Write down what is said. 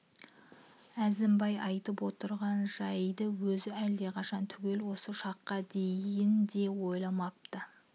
әзімбай айтып отырған жайды өзі әлдеқашан түгел осы шаққа дейін де ойламапты